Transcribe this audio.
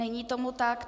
Není tomu tak.